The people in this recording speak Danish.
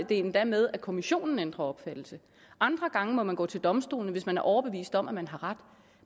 endda med at kommissionen ændrer opfattelse andre gange må man gå til domstolen hvis man er overbevist om at man har ret